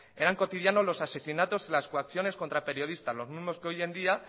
eran cotidianos los asesinatos las coacciones contra periodistas los mismos que hoy en día